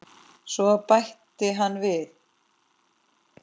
Svo bætti hann við